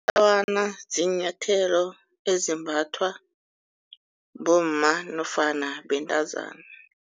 ziinyathelo ezimbathwa bomma nofana bentazana.